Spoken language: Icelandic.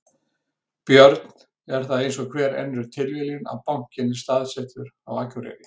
Björn: Er það eins og hver önnur tilviljun að bankinn er staðsettur á Akureyri?